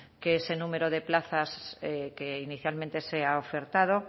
que ese número de plazas que inicialmente se ha ofertado